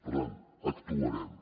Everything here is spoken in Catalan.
per tant actuarem